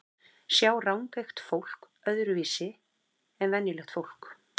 Sjá rangeygt fólk öðruvísi en venjulegt fólk?